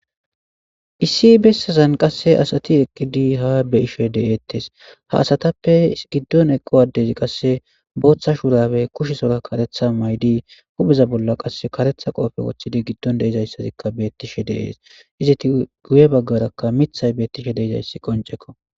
issi bessazan qasse asati eqqidi ha be ishe de7eettes ha asatappe giddon eqqowadezi qasse booththa shurabe kushe sora karetha maydi hubeza bolla qasse karetha qoofe woththidi giddon deizayssazikka beettishe deees iziti guye baggarakka mithay beettishe deizayssi qoncekko